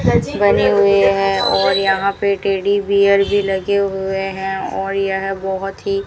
बने हुए है और यहां पे टेडी बियर भी लगे हुए हैं और यह बहुत ही --